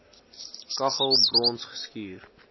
kaggel brons geskuur